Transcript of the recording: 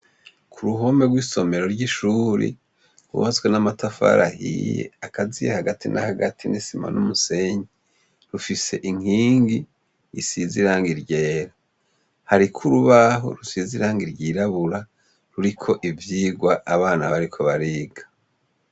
Ku ruhome rw'isomero ry'ishuri bubazwe n'amatafarahiye akaziye hagati na hagati n'isima n'umusenyi rufise inkingi isiziranga iryera hariko urubaho rusiziranga iryirabura ruriko ivyirwa abana bariko bariga.